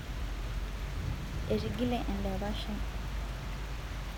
etigile endapash ai